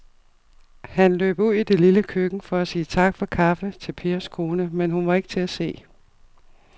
Han løb ud i det lille køkken for at sige tak for kaffe til Pers kone, men hun var ikke til at se.